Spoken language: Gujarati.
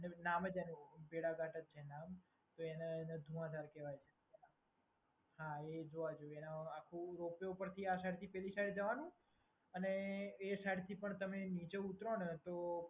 નામ પણ ભેડાઘાટ જ છે નામ એ એને જોવાના. હા, એ જોવા જેવો. આખું રોપ-વે ઉપરથી પેલી સાઈડ જવાનું અને એ સાઇડથી પણ તમે નીચે ઉતારોને તો